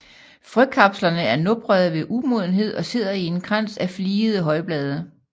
Frøkapslerne er noprede ved umodenhed og sidder i en krans af fligede højblade